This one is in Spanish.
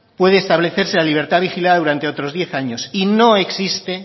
puede establecerse la libertad vigilada durante otros diez años y no existe